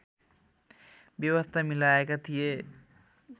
व्यवस्था मिलाएका थिए